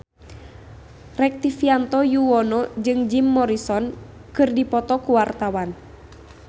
Rektivianto Yoewono jeung Jim Morrison keur dipoto ku wartawan